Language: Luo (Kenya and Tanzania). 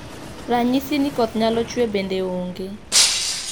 Ranyisi ni koth nyalo chue bende ong'e.